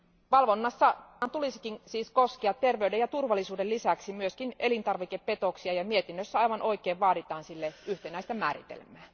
Valvonnan tulisikin siis koskea terveyden ja turvallisuuden lisäksi myös elintarvikepetoksia, ja mietinnössä aivan oikein vaaditaan sille yhtenäistä määritelmää.